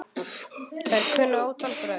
Þær kunna ótal brögð.